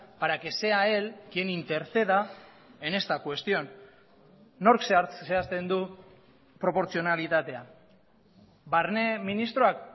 para que sea él quien interceda en esta cuestión nork zehazten du proportzionalitatea barne ministroak